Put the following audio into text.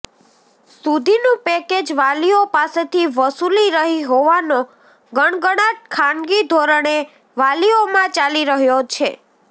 સુધીનું પેકેજ વાલીઓ પાસેથી વસુલી રહી હોવાનો ગણગણાટ ખાનગી ધોરણે વાલીઓમાં ચાલી રહ્યો છે